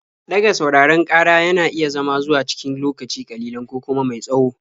Ɗaga sauraron ƙara yana iya zama zuwa cikin lokaci ƙalilan ko kuma mai tsawo.